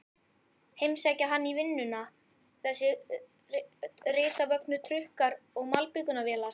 Heimsækja hann í vinnuna, þessir risavöxnu trukkar og malbikunarvélar.